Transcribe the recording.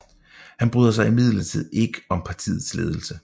Han bryder sig imidlertid ikke om partiets ledelse